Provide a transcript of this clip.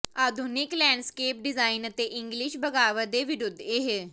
ਆਧੁਨਿਕ landscape design ਅਤੇ English ਬਗ਼ਾਵਤ ਦੇ ਵਿਰੁੱਧ ਇਹ